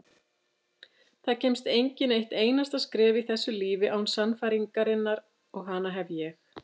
Það kemst enginn eitt einasta skref í þessu lífi án sannfæringarinnar og hana hef ég.